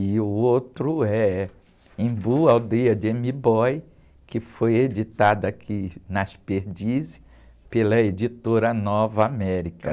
E o outro é Embu, Aldeia de M'Boy, que foi editada aqui nas Perdizes pela Editora Nova América.